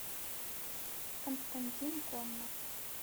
константин коннов